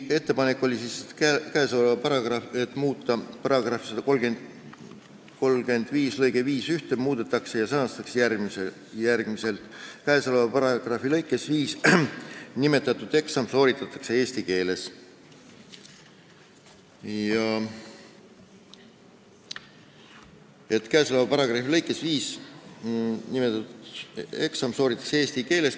Ettepanek oli: "27) paragrahvi 35 lõige 51 muudetakse ja sõnastatakse järgmiselt: " Käesoleva paragrahvi lõikes 5 nimetatud eksam sooritatakse eesti keeles."."